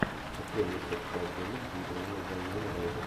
открой мне секс по обмену где играла вайнона райдер